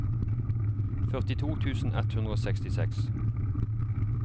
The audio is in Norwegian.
førtito tusen ett hundre og sekstiseks